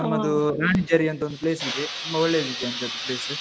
ನಮ್ಮದೂ, ರಾಣಿಝರಿ ಅಂತ ಒಂದು place ಇದೆ. ತುಂಬಾ ಒಳ್ಳೆದಿದೆ ಅಂತೇ ಅದು place .